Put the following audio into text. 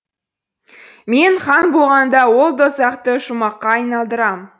мен хан болғанда ол дозақты жұмаққа айналдырам